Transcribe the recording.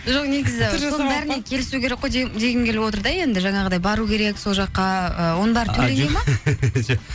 жоқ негізі келісу керек қой дегім келіп отыр да енді жаңағындай бару керек сол жаққа ы оның бәрі төленеді ме жоқ